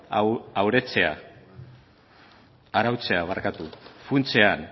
arautzea funtsean